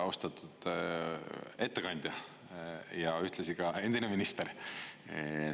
Austatud ettekandja ja ühtlasi ka endine minister!